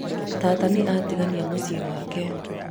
tata nĩ atiganĩa mũciĩ wake